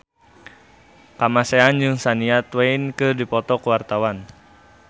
Kamasean jeung Shania Twain keur dipoto ku wartawan